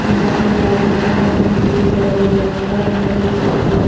यहां पे क्रॉस करके जाने के लिए हाईवे है और यहां पे साइड में--